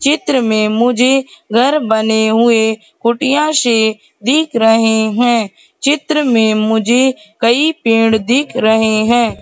चित्र में मुझे घर बने हुए कुटिया सी दिख रहें हैं चित्र में मुझे कई पेड़ दिख रहें हैं।